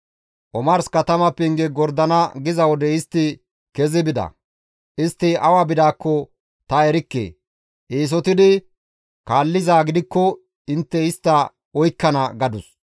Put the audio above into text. Omars katama penge gordana giza wode istti kezi bida; istti awa bidaakko ta erikke; eesotidi kaallizaa gidikko intte istta oykkana» gadus.